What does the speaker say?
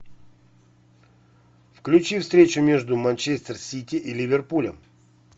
включи встречу между манчестер сити и ливерпулем